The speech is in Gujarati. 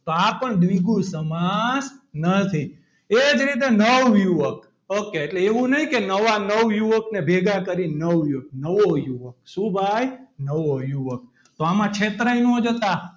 તો આ પણ દ્વિગુ સમાસ નથી એ જ રીતે નવયુવક એટલે એવું નહીં કે નવા નવયુવકને ભેગા કરીને નવયુગ નવો યુવક સુ ભાઈ નવો યુવક તો આમાં છેતરાઈ ન જતા.